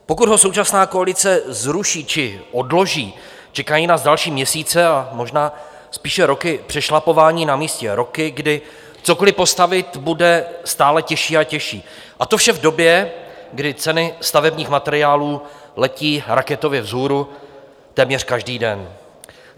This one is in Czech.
Pokud ho současná koalice zruší či odloží, čekají nás další měsíce a možná spíše roky přešlapování na místě, roky, kdy cokoli postavit bude stále těžší a těžší, a to vše v době, kdy ceny stavebních materiálů letí raketově vzhůru téměř každý den.